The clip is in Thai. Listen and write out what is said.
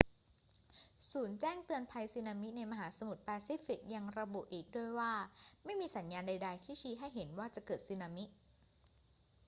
ศูนย์แจ้งเตือนภัยสึนามิในมหาสมุทรแปซิฟิกยังระบุอีกด้วยว่าไม่มีสัญญาณใด ๆ ที่ชี้ให้เห็นว่าจะเกิดสึนามิ